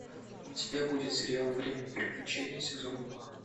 у тебя будет сериал время приключений сезон два